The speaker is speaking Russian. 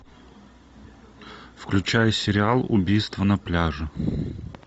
включай сериал убийство на пляже